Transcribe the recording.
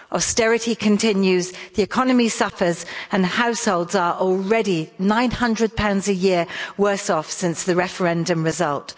Austerity continues, the economy suffers and households are already GBP 900 a year worse off since the referendum result.